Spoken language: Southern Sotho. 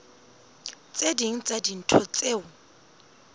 tse ding tsa dintho tseo